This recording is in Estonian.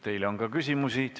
Teile on küsimusi.